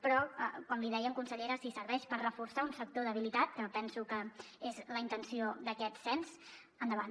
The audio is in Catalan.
però com li dèiem consellera si serveix per reforçar un sector debilitat que penso que és la intenció d’aquest cens endavant